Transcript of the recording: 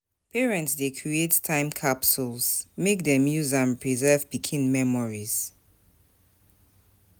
Parents dey create time capsules make dem use am preserve pikin memories.